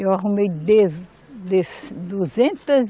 Eu arrumei de, dez, duzentas